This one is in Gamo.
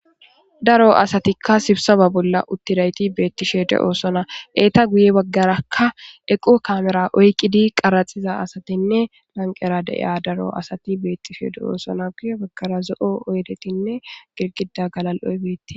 Daro asatika sibiseba bolla utidays betishe dosona. Eta guye bagaraka eqo kamera oykid qaraxiza asatinne lanqera de'iya daro asati betishe de'osona guye bagara zo'o oydetine girgida galal'oy betes.